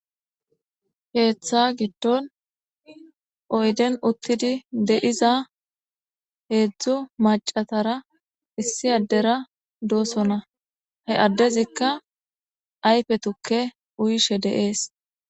Keetha gidon uyden uthidi de'iza heezu macatara issi adera de'osona he adezika ayfe tuke uyishe de'es.